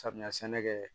Samiya sɛnɛ kɛ